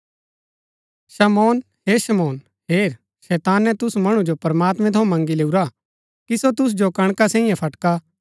शमौन हे शमौन हेर शैताने तुसु मणु जो प्रमात्मैं थऊँ मँगी लैऊरा हा कि सो तुसु जो कणका सैईये फटका